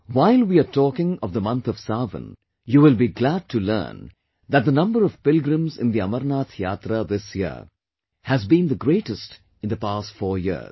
While we are talking of the month of sawan, you will be glad to learn that the number of pilgrims in the Amarnath Yatra this year has been the greatest in the past 4 years